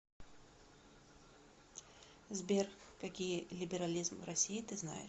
сбер какие либерализм в россии ты знаешь